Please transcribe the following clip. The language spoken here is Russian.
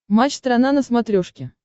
матч страна на смотрешке